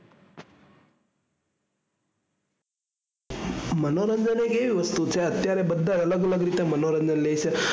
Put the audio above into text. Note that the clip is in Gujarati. મનોરંજન એક એવી વસ્તુ છે અત્યારે બધા અલગ અલગ રીતે મનોરંજન લે છે.